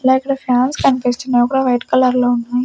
Light లు fans అవి కుడా వైట్ కలర్ లో ఉన్నాయ్.